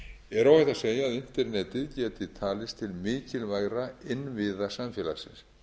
er óhætt að segja að internetið geti talist til mikilvægra innviða samfélagsins